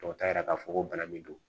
Tɔ t'a yira k'a fɔ ko bana min don